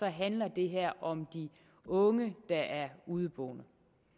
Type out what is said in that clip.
handler det her om de unge der er udeboende